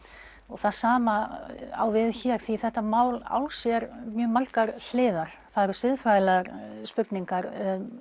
það sama á við hér því þetta mál á sér mjög margar hliðar það eru siðfræðilegar spurningar